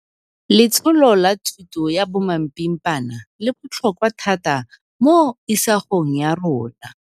Letsholo la thuto ya bomapimpana le botlhokwa thata mo isagong ya rona.